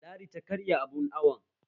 Ladi ta karya abun awon